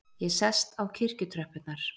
Ég sest á kirkjutröppurnar.